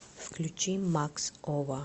включи макс ова